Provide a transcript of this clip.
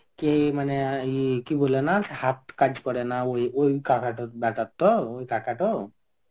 কে মানে অ্যাঁ ইয়ে কি বলে না সে হাত কাজ করে না. ওই ওই কাকাটার বেটার তো. ওই কাকাটা তো?